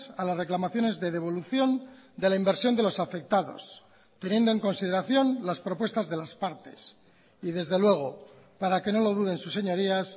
a las reclamaciones de devolución de la inversión de los afectados teniendo en consideración las propuestas de las partes y desde luego para que no lo duden sus señorías